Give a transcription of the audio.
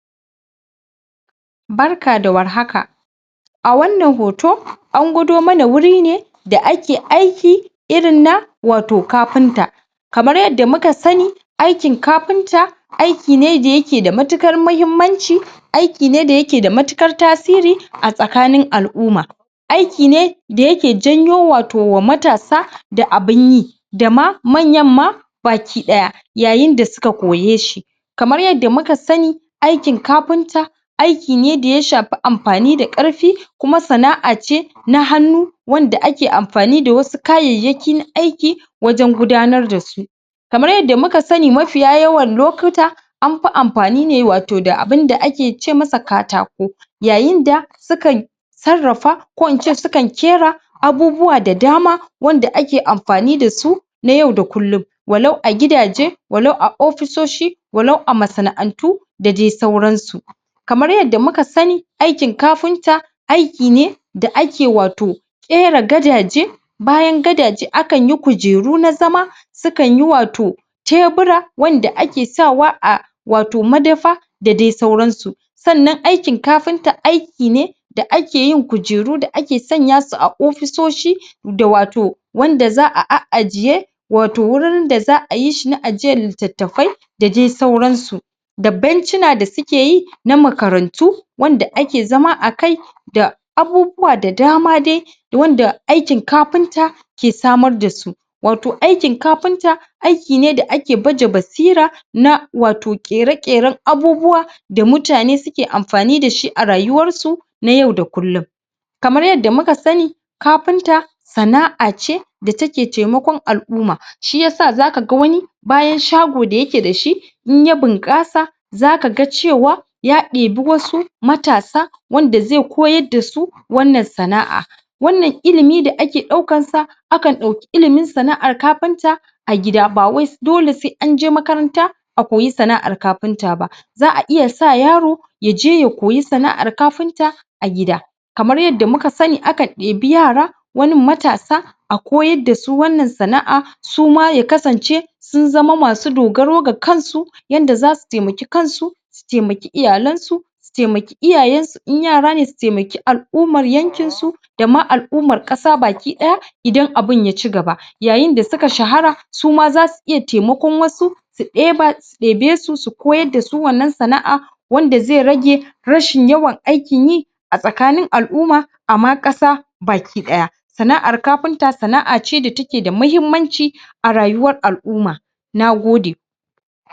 Barka da warhaka Barka da warhaka an gwado mana wuri ne da ake aiki da ake aiki irin na wato kafinta kamar yadda muka sani aikin kafinta aiki ne da yake da matuƙar muhimmanci, aiki ne da yake da matuƙar tasiri a tsakanin al’umma aiki ne da yake janyowa wato wa matasa da abin abin yi, da ma manyan ma baki ɗaya ya yin da suka koye shi Kamar yadda muka sani aikin kafinta, aiki ne da ya shafi amfani da ƙarfi kuma sana’a ce na hannu wanda ake amfani da wasu kayayyaki na aiki wajen gudanar da su kamar yadda muka sani mafiya yawan lokuta an fi amfani ne wato da abin da ake ce masa katako yayin da sukan sarrafa ko in ce sukan ƙera abubuwa da dama wanda ake amfani da su na yau da kullum walau a gidaje walau a ofisoshi walau a masana’antu da dai sauransu Kamar yadda muka sani aikin kafinta aiki ne da ake wato ƙera gadaje bayan gadaje akan yi kujeru na zama sukan yi wato tebura anda ake sawa a sawa wato madafa da dai sauransu Sannan aikin kafinta aiki ne da ake yin kujeru da ake sanya su a ofisoshi da wato wanda za a a’ajiye wato wurin da za a yi shi na ajiyar litattafai da dai sauransu da bencina da suke yi na makarantu wanda ake zama a kai da abubuwa da dama dai wanda aikin kafinta ke samar da su Wato aikin kafinta aiki ne da ake baje basira na wato ƙere-ƙeren abubuwa da mutane suke amfani da shi a rayuwarsu na yau da kullum Kamar yadda muka sani kafinta sana’a ce da take taimakon al’umma hi yasa zaka ga wani bayan shago da yake da shi in ya bunƙasa za kaga cewa ya ɗebi wasu matasa matasa wanda zai koyar da su wannan sana’a Wannan ilimi da ake ɗaukar sa akan ɗauki ilimin sana’ar kafinta a gida ba wai dole sai an je makaranta a koyi sana’ar kafinta ba Za a iya sa yaro ya je ya koyi sana’ar kafinta a gida kamar yadda muka sani akan ɗebi yara wanin matasa a koyar da su wannan sana’a suma ya kasance sun zama nasu dogaro ga kansu yadda zasu taimaki kansu su taimaki iyalansu su taimaki iyayensu, in yara ne, su taimaki al’ummar yankinsu da ma al’ummar ƙasa baki ɗaya idan abin ya cigaba ya yin da suka shahara suma zasu iya taimakon wasu su ɗebe su ɗebe su koyar da su wannan sana’a wanda zai rage rashin yawan aikin yi a tsakanin al’umma a ma ƙasa baki ɗaya sana’ar kafinta sana’a ce da ke da mahimmanci a rayuwar al’umma Nagode